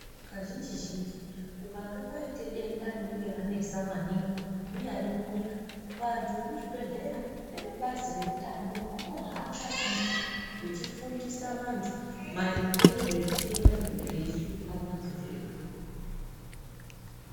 Kazhinji-zhinji kukanga kwaite denda rinenge ranesa maningi, munyari munyika vantu vekuzvibhehlera nevebazi reutano vakahamba maningi vechifundisa vantu maringe ngezvezvitenda zvinenge zvichihlupa vantu zvoizvo.